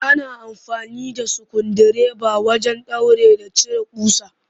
Ana amfani da sukundireba wajen ɗaura da cire ƙusa